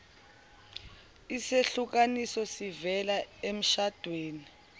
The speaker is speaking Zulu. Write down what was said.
isehlukaniso sivela emshadweni